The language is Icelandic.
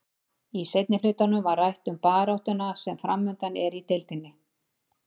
Í seinni hlutanum var rætt um baráttuna sem framundan er í deildinni.